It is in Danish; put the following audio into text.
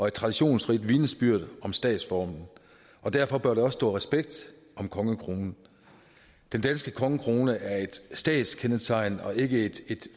et traditionsrigt vidnesbyrd om statsformen og derfor bør der også stå respekt om kongekronen den danske kongekrone er et statskendetegn og ikke et